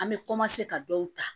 An bɛ ka dɔw ta